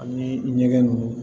Ani ɲɛgɛn nunnu